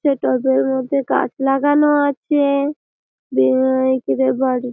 সেই টবের মধ্যে গাছ লাগানো আছে দিয়ে এইকিরে বাড়ি ।